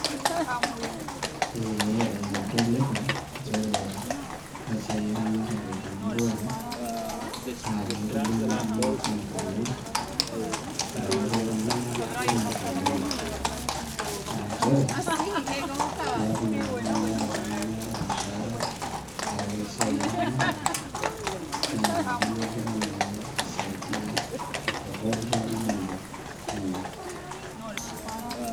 Ee adolita nchere ore esiai eramatare temurua na kitobiru oltungani oleng etareto ltunganak kumok oleng wa nchere inepu meeta oltungani ormushaara kake ore esiai eramatare na ninye nagira aisaidia tepokki toki nayieu ninye